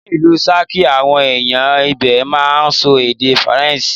Ni ìlú Ṣakí, àwọn ẹ̀yàn ibè máa ń sọ èdè Faransé.